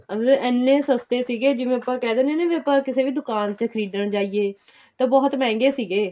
ਐਨੇ ਸਸਤੇ ਸੀਗੇ ਜਿਵੇਂ ਆਪਾਂ ਕਹਿ ਦਿੰਨੇ ਆ ਆਪਾਂ ਕਿਸੇ ਦੁਕਾਨ ਤੇ ਖਰੀਦਣ ਜਾਈਏ ਤਾਂ ਬਹੁਤ ਮਹਿੰਗੇ ਸੀਗੇ ਏ